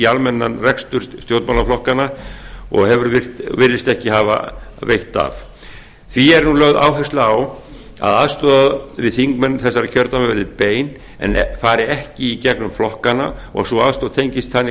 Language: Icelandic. almennan rekstur stjórnmálaflokkanna og virðist ekki hafa veitt af því er nú lögð áhersla á að aðstoð við þingmenn þessara kjördæma verði bein en fari ekki í gegnum flokkana og að sú aðstoð tengist þannig